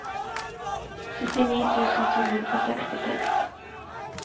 syttini tusen to hundre og sekstiseks